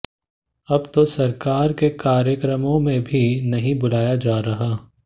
अब तो सरकार के कार्यक्रमों में भी नहीं बुलाया जा रहा